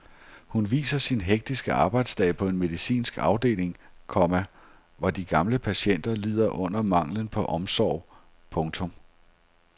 Hun viser sin hektiske arbejdsdag på en medicinsk afdeling, komma hvor de gamle patienter lider under manglen på omsorg. punktum